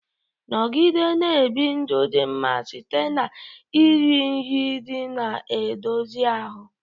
Nọgide na-ebi ndụ dị mma site na iri nri ndị na-edozi ahụ.